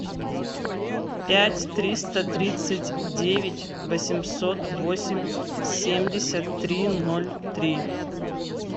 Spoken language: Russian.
пять триста тридцать девять восемьсот восемь семьдесят три ноль три